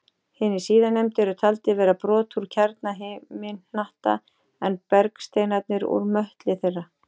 Hinir síðarnefndu er taldir vera brot úr kjarna himinhnatta en bergsteinarnir úr möttli þeirra.